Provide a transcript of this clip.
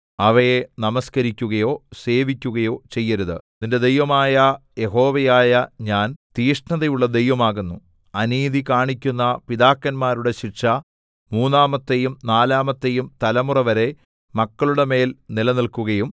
അവയെ നമസ്കരിക്കുകയോ സേവിക്കുകയോ ചെയ്യരുത് നിന്റെ ദൈവമായ യഹോവയായ ഞാൻ തീക്ഷ്ണതയുള്ള ദൈവം ആകുന്നു അനീതി കാണിക്കുന്ന പിതാക്കന്മാരുടെ ശിക്ഷ മൂന്നാമത്തെയും നാലാമത്തെയും തലമുറവരെ മക്കളുടെമേൽ നിലനിൽക്കുകയും